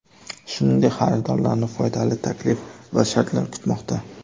Shuningdek, xaridorlarni foydali taklif va shartlar kutmoqda.